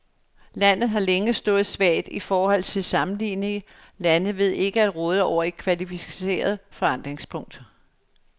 Landet har længe stået svagt i forhold til sammenlignelige lande ved ikke at råde over et kvalificeret forankringspunkt.